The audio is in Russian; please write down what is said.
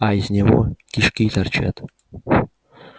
а из него кишки торчат